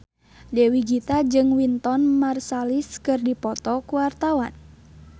Dewi Gita jeung Wynton Marsalis keur dipoto ku wartawan